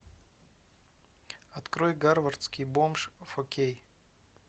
открой гарвардский бомж фо кей